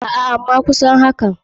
Aa ama kusan haka.